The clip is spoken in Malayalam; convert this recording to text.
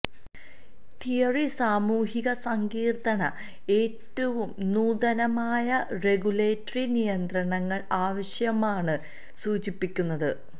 തിയറി സാമൂഹിക സങ്കീർണ്ണത ഏറ്റവും നൂതനമായ റെഗുലേറ്ററി നിയന്ത്രണങ്ങൾ ആവശ്യമാണ് സൂചിപ്പിക്കുന്നത്